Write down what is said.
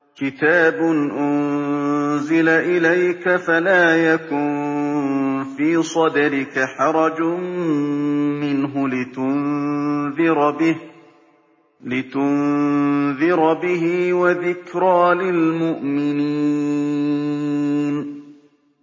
كِتَابٌ أُنزِلَ إِلَيْكَ فَلَا يَكُن فِي صَدْرِكَ حَرَجٌ مِّنْهُ لِتُنذِرَ بِهِ وَذِكْرَىٰ لِلْمُؤْمِنِينَ